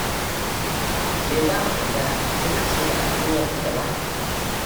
Me za mu tambaya? Sai ka ce ba a duniyar muke ba.